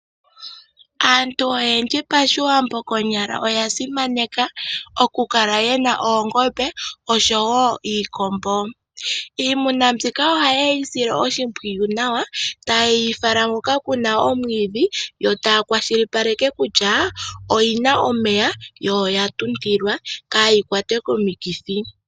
Aantu oyendji PaShiwambo konyala oya simaneka okukala yena oongombe oshowoo iikombo. Iimuna mbyika ohayeyi sile oshimpwiyu nawa, tayeyi fala hoka kuna omwiidhi yo taa kwashilipaleke kutya oyina omeya, yo oya tuntilwa kaayi kwatwe komikithi.